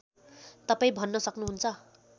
तपाईँ भन्न सक्नुहुन्न